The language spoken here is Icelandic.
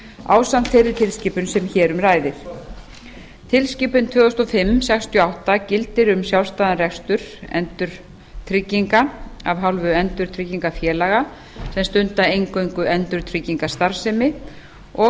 ásamt þeirri tilskipun sem hér um ræðir tilskipun tvö þúsund og fimm sextíu og átta e b gildir um sjálfstæðan rekstur endurtrygginga af hálfu endurtryggingafélaga sem stunda eingöngu endurtryggingastarfsemi og